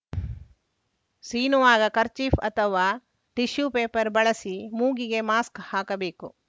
ಸೀನುವಾಗ kerchief ಅಥವಾ tissue paper ಬಳಸಿ ಮೂಗಿಗೆ ಮಾಸ್ಕ್‌ ಹಾಕಬೇಕು